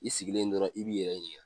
I sigilen dɔrɔn i b'i yɛrɛ ɲininka.